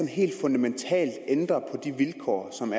helt fundamentalt ændrer på de vilkår som